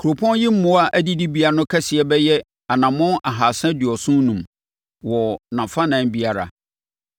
Kuropɔn yi mmoa adidibea no kɛseɛ bɛyɛ anammɔn ahasa aduɔson enum (375) wɔ nʼafanan biara.